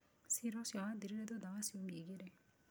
Ciira ũcio wathirire thutha wa ciumia igĩrĩ.